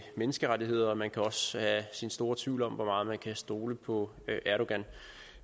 menneskerettighederne man kan også have sine store tvivl om hvor meget man kan stole på erdogan